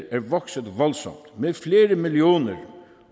er vokset voldsomt med flere millioner